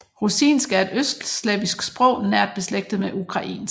Rusinsk er et østslavisk sprog nært beslægtet med ukrainsk